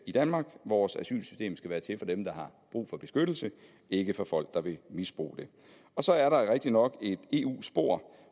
i danmark vores asylsystem skal være til for dem der har brug for beskyttelse ikke for folk der vil misbruge det så er der rigtigt nok et eu spor